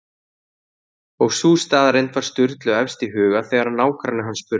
Og sú staðreynd var Sturlu efst í huga þegar nágranni hans spurði